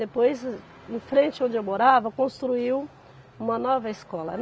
Depois, em frente onde eu morava, construiu uma nova escola.